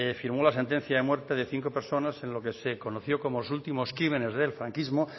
firmó la sentencia de muerte de cinco personas en lo que se conoció como los últimos que crímenes del franquismo